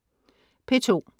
P2: